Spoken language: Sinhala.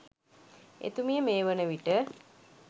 එතුමිය මේ වන විට